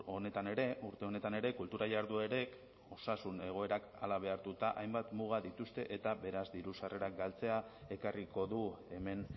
honetan ere urte honetan ere kultura jarduerek osasun egoerak hala behartuta hainbat muga dituzte eta beraz diru sarrerak galtzea ekarriko du hemen